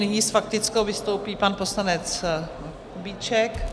Nyní s faktickou vystoupí pan poslanec Kubíček.